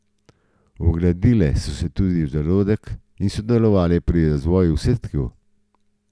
Vgradile so se v zarodek in sodelovale pri razvoju vseh tkiv.